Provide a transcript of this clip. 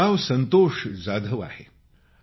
माझं नाव संतोष जाधव आहे